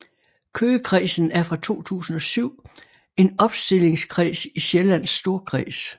Køgekredsen er fra 2007 en opstillingskreds i Sjællands Storkreds